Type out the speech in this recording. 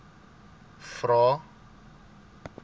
vvvvrae